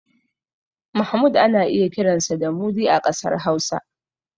Mahmud ana iya kiransa da Mudi a ƙasar Hausa.